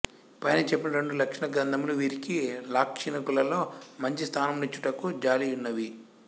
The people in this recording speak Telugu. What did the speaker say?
పైన చెప్పిన రెండు లక్షణ గ్రంథములు వీరికి లాక్షణికులలో మంచి స్థానము నిచ్చుటకు జాలియున్నవి